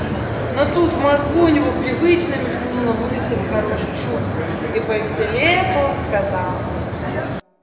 но тут в мозгу у него привычно мелькнула мысль о хорошей шутке и повеселев он сказал